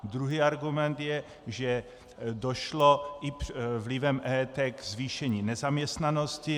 Druhý argument je, že došlo i vlivem EET k zvýšení nezaměstnanosti.